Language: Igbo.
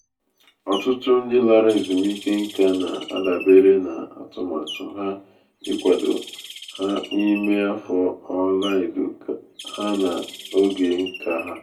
ọtụtụ ndị lara ezumike nká na-adabere na atụmatụ ha ịkwado ha n'ime afọ ọla edo ha na oge um nka ha